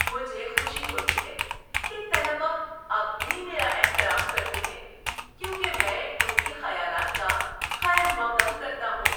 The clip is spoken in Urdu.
مجھے خوشی ہوتی ہے کہ طلبہ اب بھی میرا احترام کرتے ہیں کیونکہ میں ان کے خیالات کا خیر مقدم کرتا ہوں۔